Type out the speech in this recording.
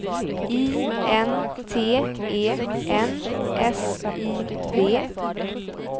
I N T E N S I V